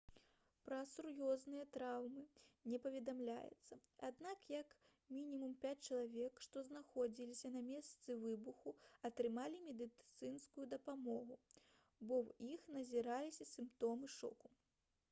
пра сур'ёзныя траўмы не паведамляецца аднак як мінімум пяць чалавек што знаходзіліся на месцы выбуху атрымалі медыцынскую дапамогу бо ў іх назіраліся сімптомы шоку